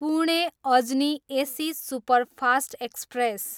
Pune, Ajni AC superfast express